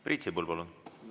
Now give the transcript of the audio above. Priit Sibul, palun!